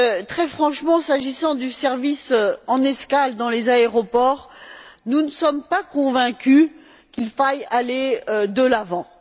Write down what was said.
Très franchement, s'agissant du service en escale dans les aéroports, nous ne sommes pas convaincus qu'il faille aller de l'avant.